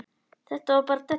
Þetta er bara della.